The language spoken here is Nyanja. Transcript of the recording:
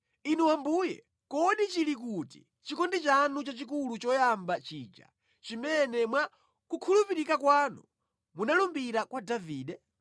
Inu Ambuye kodi chili kuti chikondi chanu chachikulu choyamba chija, chimene mwa kukhulupirika kwanu munalumbira kwa Davide?